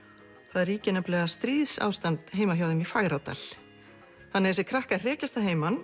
það ríkir stríðsástand heima hjá þeim í Fagradal þannig að þessir krakkar hrekjast að heiman